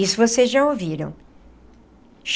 Isso vocês já ouviram.